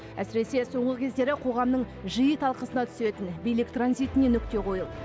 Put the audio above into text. әсіресе соңғы кездері қоғамның жиі талқысына түсетін билік транзитіне нүкте қойылды